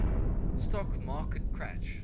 stock market crash